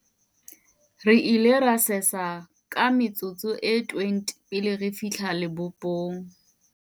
re ile ra sesa ka metsotso e 20 pele re fihla lebopong